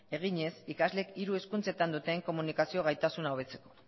eginez ikasleek hiru hizkuntzetan duten komunikazio gaitasuna hobetzeko